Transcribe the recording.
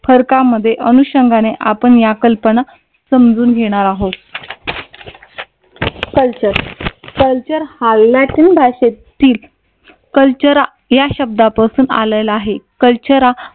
फरका मध्ये अनुषंगाने आपण या कल्पना समजून घेणारा आहोत. कल्चर कल्चर हा लॅटिन भाषेतील कल्चरल या शब्दापासून आलेला आहे. कल्चर हा